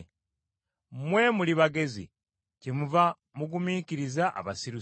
Mmwe muli bagezi, kyemuva mugumiikiriza abasirusiru.